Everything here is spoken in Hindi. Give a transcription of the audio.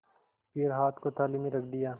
फिर हाथ को थाली में रख दिया